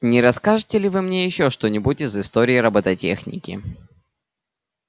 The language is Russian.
не расскажете ли вы мне ещё что-нибудь из истории роботехники